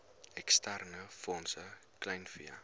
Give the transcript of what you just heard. eksterne fondse kleinvee